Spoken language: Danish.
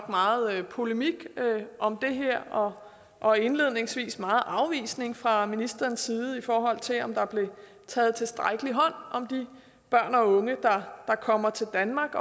meget polemik om det her og og indledningsvis meget afvisning fra ministerens side i forhold til om der bliver taget tilstrækkelig hånd om de børn og unge der kommer til danmark